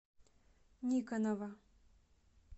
никонова